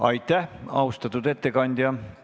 Aitäh, austatud ettekandja!